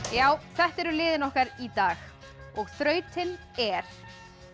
já þetta eru liðin okkar í dag og þrautin er